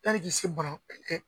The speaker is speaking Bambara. Yani k'i se bana